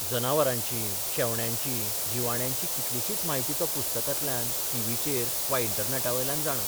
जनावरांची, शेवण्यांची, जिवाण्यांची कितलीशीच म्हायती तो पुस्तकांतल्यान, टीव्हीचेर वा इंटरनॅटावेल्यान जाणा.